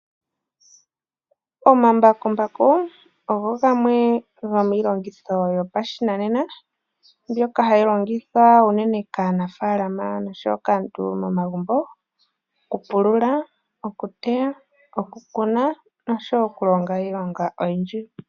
Omambakumbaku ogo gamwe gomiilongitho yopashinanena, mbyoka hayi longithwa unene kaanafaalama oshowo kaantu momagumbo okupulula, okuteya, okukuna noshowo okulonga iilonga oyindji.